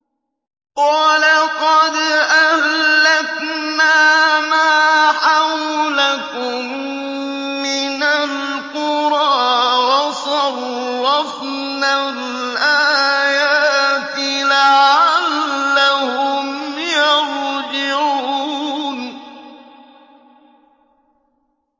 وَلَقَدْ أَهْلَكْنَا مَا حَوْلَكُم مِّنَ الْقُرَىٰ وَصَرَّفْنَا الْآيَاتِ لَعَلَّهُمْ يَرْجِعُونَ